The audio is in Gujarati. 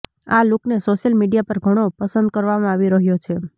આ લૂકને સોશિયલ મીડિયા પર ઘણો પસંદ કરવામાં આવી રહ્યો છે